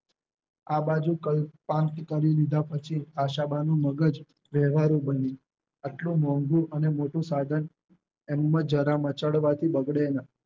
આ બાજુ કલ્પાન કરી લીધા પછી આશા બાનું મગજ વેવારું બન્યું. આટલુ મોંઘુ અને મોટું સાધન એમજ જરા મચડવાથી બગડે ના